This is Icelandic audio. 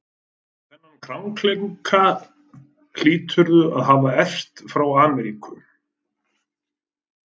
Þennan krankleika hlýturðu að hafa erft frá Ameríku.